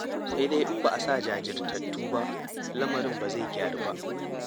Sai dai in ba a sa jajirtattu ba, lamarin ba zai gyaru ba.